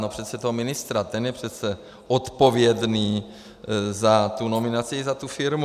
No přece toho ministra, ten je přece odpovědný za tu nominaci i za tu firmu.